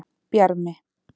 Bjarmi